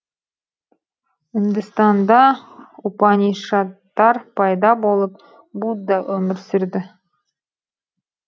үндістанда упанишадтар пайда болып будда өмір сүрді